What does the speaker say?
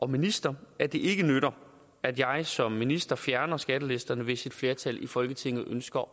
minister at det ikke nytter at jeg som minister fjerner skattelisterne hvis et flertal i folketinget ønsker